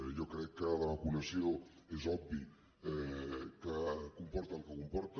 jo crec que la vacunació és obvi que comporta el que comporta